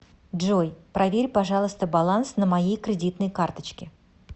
джой проверь пожалуйста баланс на моей кредитной карточке